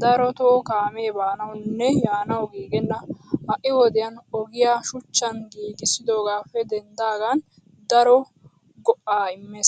darotoo kaamee baanawunne yaanawu giiggenna. Ha'i wodiyaan ogiyaa shuchchan giigissidoogaappe denddidaagan daro go'aa immes.